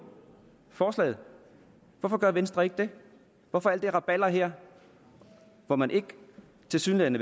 forslaget hvorfor gør venstre ikke det hvorfor alt det rabalder her hvor man tilsyneladende